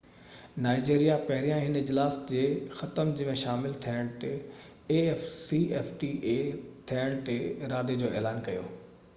Nigeria پهريان هن اجلاس جي ختم ٿيڻ تي afcfta ۾ شامل ٿيڻ جي ارادي جو اعلان ڪيو